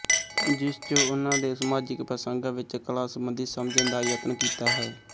ਜਿਸ ਚ ਉਹਨਾਂ ਦੇ ਸਮਾਜਿਕ ਪ੍ਰਸੰਗਾਂ ਵਿੱਚ ਕਲਾ ਸੰਬੰਧੀ ਸਮਝਣ ਦਾ ਯਤਨ ਕੀਤਾ ਹੈ